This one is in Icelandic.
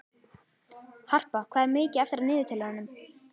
Harpa, hvað er mikið eftir af niðurteljaranum?